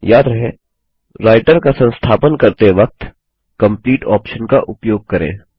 याद रहे राइटर का संस्थापन करते वक्त कंप्लीट ऑप्शन का उपयोग करें